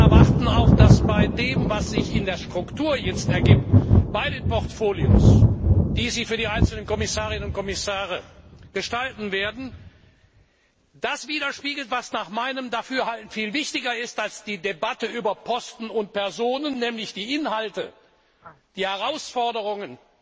Wir erwarten auch, dass die Struktur bei den Portfolios, die Sie für die einzelnen Kommissarinnen und Kommissare gestalten werden, das widerspiegelt, was nach meinem Dafürhalten viel wichtiger ist als die Debatte über Posten und Personen, nämlich die Inhalte, die Herausforderungen,